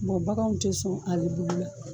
baganw tɛ sɔn ale bulu la.